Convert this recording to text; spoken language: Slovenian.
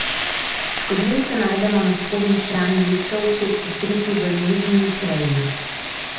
Škodljivce najdemo na spodnji strani listov, kjer so skriti v nežni preji.